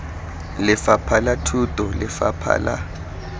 lefapha la thuto lefapha la